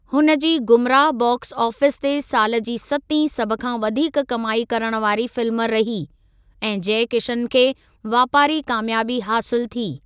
हुन जी Gumraah box office ते साल जी सतीं सभ खां वधीक कमाई करण वारी फिल्म रही, ऐं जय किशन खे वापारी क़ामियाबी हासिलु थी।